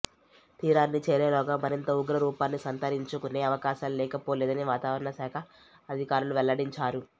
తీరాన్ని చేరేలోగా మరింత ఉగ్రరూపాన్ని సంతరించుకునే అవకాశాలు లేకపోలేదని వాతావరణ శాఖ అధికారులు వెల్లడించారు